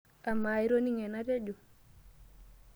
Amaa, itoning'o enatejo?